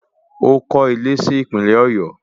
Ó kọ́ ilé si Ìpínlẹ̀ Ọ̀yọ́